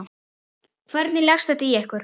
Hvernig leggst þetta í ykkur?